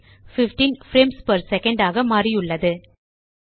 15 frames per second ஆக மாறியுள்ளது